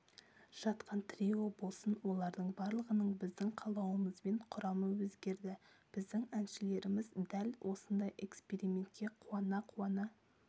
жатқан трио болсын олардың барлығының біздің қалауымызбен құрамы өзгерді біздің әншілеріміз дәл осындай экспериментке қуана-қуана